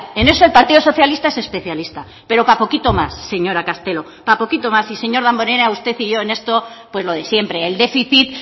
en eso el partido socialista es especialista pero para poquito más señora castelo para poquito más y seños damborenea usted y yo en esto pues lo de siempre el déficit